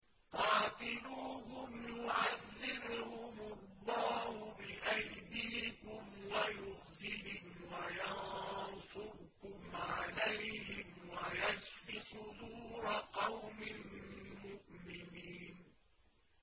قَاتِلُوهُمْ يُعَذِّبْهُمُ اللَّهُ بِأَيْدِيكُمْ وَيُخْزِهِمْ وَيَنصُرْكُمْ عَلَيْهِمْ وَيَشْفِ صُدُورَ قَوْمٍ مُّؤْمِنِينَ